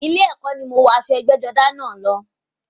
Ilé ẹkọ ni mo wọ aṣọ ẹgbẹ́-jọdá náà lọ.